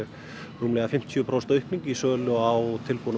rúmlega fimmtíu prósent aukning í sölu á tilbúnum